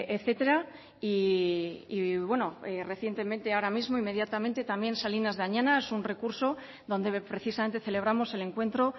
etcétera y bueno recientemente ahora mismo inmediatamente también salinas de añana es un recurso donde precisamente celebramos el encuentro